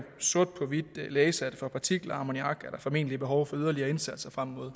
sort på hvidt læse at for partikler og ammoniak er der formentlig behov for yderligere indsatser frem mod